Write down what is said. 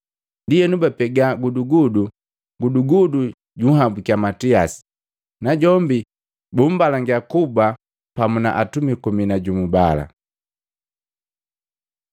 Ndienu bapega gudugudu, gudugudu junhabukiya Matiasi, najombi bumbalangiya kuba pamu na atumi komi na jumu bala.